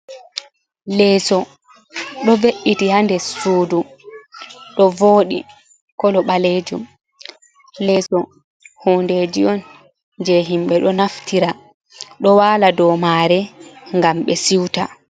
Leeso do we’iti haa nder suudu ɗo wooɗi kolo baleejum, leeso hunndeji on jey himɓe ɗo naftira ɗo wala dow maare ngam ɓe siuta.